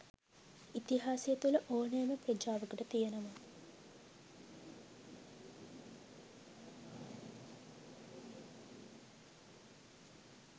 ඉතිහාසය තුළ ඕනෑම ප්‍රජාවකට තියෙනවා